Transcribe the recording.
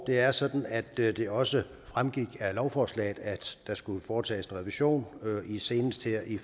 det er sådan at det det også fremgik af lovforslaget at der skulle foretages en revision senest her i